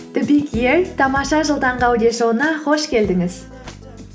тамаша жыл таңғы аудиошоуына қош келдіңіз